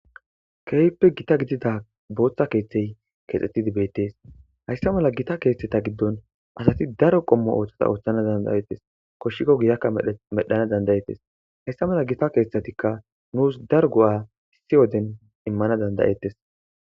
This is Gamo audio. Keehippe gita gidida bootta keeththey keexettidi beettes. Hayssa mala gita keeththeta giddon asati daro qommo oosota ooththanaw danda'ettes. Koshshiko giyakka medhdhanaw danda'es. Hessa mala gita keeththatikka nuusi daro go'a issi wode immana danda'ettes.